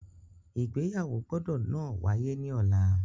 Igbeyawo gbọdọ náà waye ni ọla!